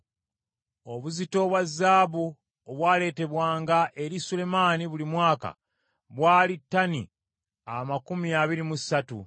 Obuzito obwa zaabu obwaleetebwanga eri Sulemaani buli mwaka bwali ttani amakumi abiri mu ssatu,